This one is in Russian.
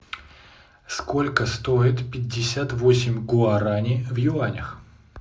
сколько стоит пятьдесят восемь гуарани в юанях